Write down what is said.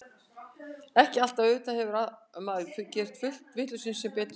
Ekki alltaf, auðvitað hefur maður gert fullt af vitleysum sem betur fer.